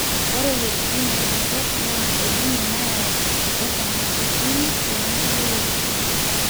ore wuejitin naideket naa El nino nayau woo sargabitin too nkulie wuejitin